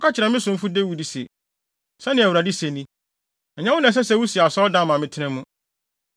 “Kɔka kyerɛ me somfo Dawid se, ‘Sɛnea Awurade se ni: ɛnyɛ wo na ɛsɛ sɛ wusi asɔredan ma me tena mu.